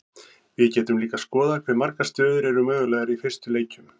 við getum líka skoðað hve margar stöður eru mögulegar í fyrstu leikjum